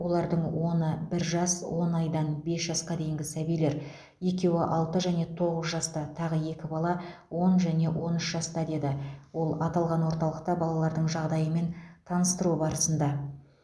олардың оны бір жас он айдан бес жасқа дейінгі сәбилер екеуі алты және тоғыз жаста тағы екі бала он және он үш жаста деді ол аталған орталықта балалардың жағдайымен таныстыру барысында